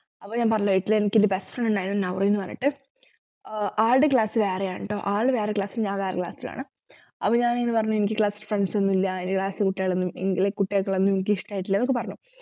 അപ്പൊ ഞാൻ പറഞ്ഞില്ലേ എട്ടിൽ എനിക്കെന്റെ best friend ഉണ്ടായിരുന്നു നൗറീൻന്നു പറഞ്ഞിട്ട് ആഹ് ആളുടെ class വേറെയായിരുന്നുട്ടോ ആളു വേറെ class ലും ഞാൻ വേറെ class ലും ആണ് അപ്പൊ ഞാൻ ഇതുപറഞ്ഞു എനിക്ക് class ൽ friends ഒന്നുമില്ല എന്റെ class ലത്തെ കുട്ടികളൊന്നും ഏർ like കുട്ടികളെയൊക്കെ ഒന്നും എനിക്കിഷ്ടായിട്ടില്ലന്നൊക്കെ പറഞ്ഞു